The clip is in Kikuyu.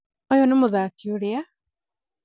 ũyũ nĩ mũthaki ũrĩa?